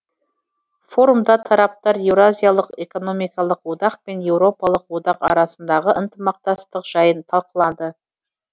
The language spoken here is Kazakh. форумда тараптар еуразиялық экономикалық одақ пен еуропалық одақ арасындағы ынтымақтастық жайын талқылады